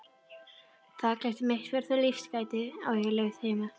Þakklæti mitt fyrir þau lífsgæði sem ég naut heima á